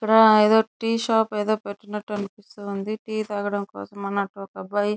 ఇక్కడ tea shop ఏదోపెట్టినట్టు అనిపిస్తుంది. టీ తాగడం కోసం ఒక అబ్బాయి --